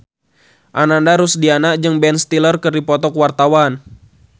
Ananda Rusdiana jeung Ben Stiller keur dipoto ku wartawan